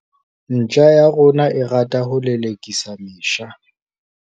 ntja ya rona e rata ho lelekisa mesha